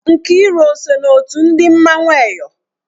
Nkiru o so na otu ndị mmanwụ Eyọ?